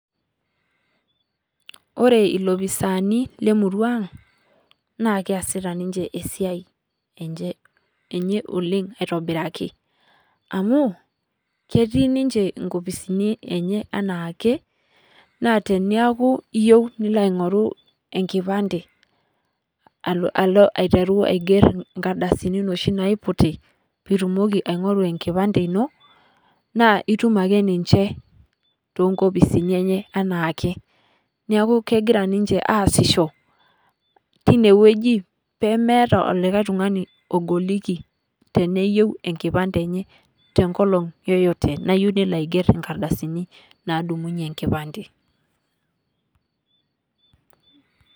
Ore iloopisani le murua ang' naa keesita ninche esiai enye oleng' aitobiraki, amuu ketii ninche inkopisini enye enakee naa tenayaku iyeu nilo aing'oru enkipande alo aiteru aiger inkardasini noshi naiputi , pitumoki aing'oru ekipande ino, naa itum ake ninche toonkopisini enye anaake. Neeku kegira ninche aaisisho tineweji pemeeta olikae tung'ani ogoliki teneyeu enkipande enye tenkolong yoyote nayeu nelo aiger inkardasini nadung'unye enkipande.